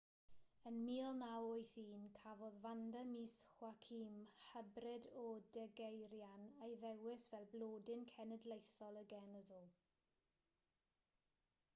yn 1981 cafodd vanda miss joaquim hybrid o degeirian ei ddewis fel blodyn cenedlaethol y genedl